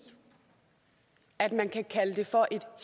at man kan kalde det for et